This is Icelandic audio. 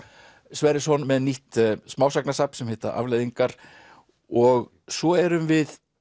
Sverrisson með nýtt smásagnasafn sem heitir afleiðingar og svo erum við